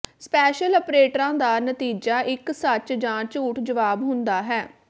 special ਅਪਰੇਟਰਾਂ ਦਾ ਨਤੀਜਾ ਇੱਕ ਸੱਚ ਜਾਂ ਝੂਠ ਜਵਾਬ ਹੁੰਦਾ ਹੈ